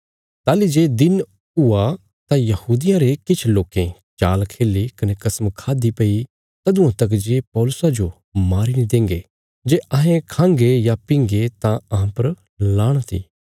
ताहली जे दिन हुआ तां यहूदियां रे किछ लोकें चाल खेल्ही कने कसम खाद्दि भई तदुआं तका जे पौलुसा जो मारी नीं देंगे जे अहें खांगे या पींगे तां अहां पर लाणत इ